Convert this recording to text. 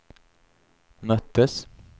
möttes